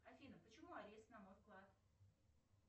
афина почему арест на мой вклад